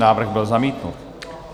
Návrh byl zamítnut.